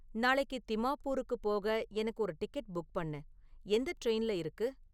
நாளைக்கு திமாபூருக்குப் போக எனக்கு ஒரு டிக்கெட் புக் பண்ணு எந்த ட்ரெயின்ல இருக்கு?